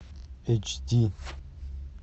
эйч ди